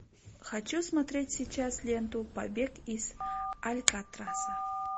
хочу смотреть сейчас ленту побег из алькатраса